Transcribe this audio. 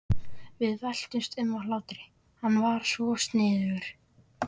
Við veltumst um af hlátri, hann var svo sniðugur.